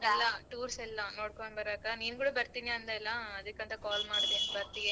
ಎಲ್ಲಾ tours ಎಲ್ಲಾ ನೋಡ್ಕೊಂಡ್ ಬರಕ ನೀನ್ ಕೂಡ ಬರ್ತಿನ್ ಅಂದಲ್ಲ ಅದಕ್ಕಂತಾ call ಮಾಡ್ದೇ ಬರ್ತೀಯಾ?